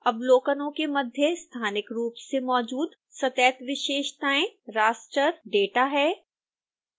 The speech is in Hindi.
अवलोकनों के मध्य स्थानिक रूप से मौजूद सतत विशेषताएं raster data है